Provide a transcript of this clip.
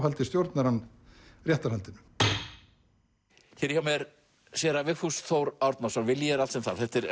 áhaldi stjórnar hann réttarhaldinu hér hjá mér séra Vigfús Þór Árnason vilji er allt sem þarf þetta er